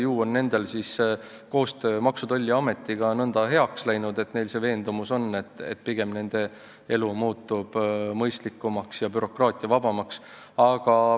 Ju on nende koostöö Maksu- ja Tolliametiga nõnda heaks läinud, et neil on see veendumus, et nende elu muutub siis pigem mõistlikumaks ja bürokraatiavabamaks.